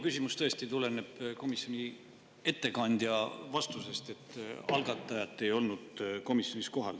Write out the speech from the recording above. Tõesti, minu küsimus tuleneb komisjoni ettekandja vastusest, et algatajat ei olnud komisjonis kohal.